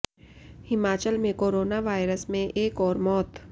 हिमाचल में corona virus से एक और मौत